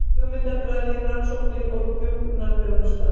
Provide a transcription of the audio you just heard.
Hugmyndafræði, rannsóknir og hjúkrunarþjónusta.